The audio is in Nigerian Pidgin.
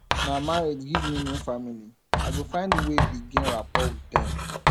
na marriage give me new family i go find way begin rapport wit dem